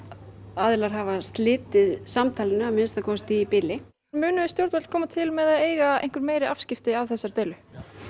aðilar hafi slitið samtalinu að minnsta kosti í bili munu stjórnvöld koma til með að eiga meiri afskipti af þessari deilu